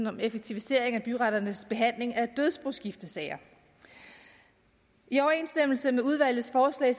om effektivisering af byretternes behandling af dødsboskiftesager i overensstemmelse med udvalgets forslag